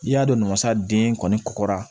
N'i y'a don mansa den kɔni kɔkɔra